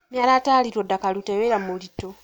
Nĩ aratarirwo ndakarute wĩra mũritũ.